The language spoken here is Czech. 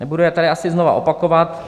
Nebudu je tady asi znovu opakovat.